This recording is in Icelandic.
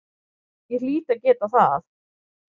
Ég hlýt að geta það.